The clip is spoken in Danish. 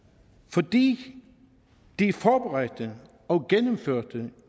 fordi de forberedte og gennemførte